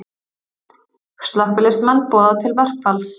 Slökkviliðsmenn boða til verkfalls